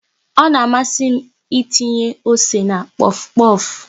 Ọ na amasị m ịtinye ose na pofu pofu